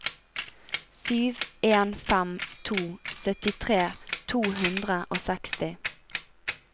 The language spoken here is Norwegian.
sju en fem to syttitre to hundre og seksti